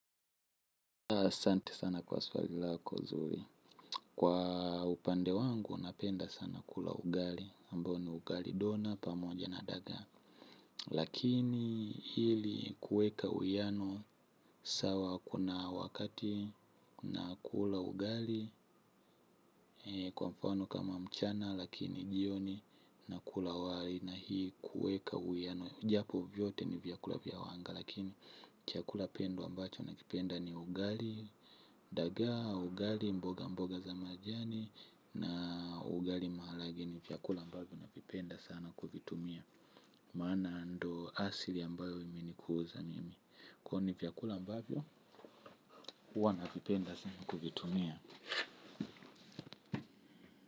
Asante sana kwa swali lako zuri. Kwa upande wangu, napenda sana kula ugali. Mbo ni ugali dona, pamoja na dagaa. Lakini ili kuweka uwiano, sawa kuna wakati nakula ugali, kwa mfano kama mchana, lakini jioni nakula wali na hii kuweka uwiano. Japo vyote ni vyakula vya wanga, lakini chakula pendwa ambacho nakipenda ni ugali. Dagaa au ugali mboga mboga za majani na ugali maharage nitakula ambavyo navipenda sana kuvitumia maana ndo asili ambayo imenikuza mimi. Kwa hivo ni vyakula ambavyo, huwa navipenda sana kuvitumia.